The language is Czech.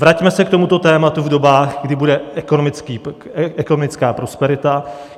Vraťme se k tomuto tématu v dobách, kdy bude ekonomická prosperita.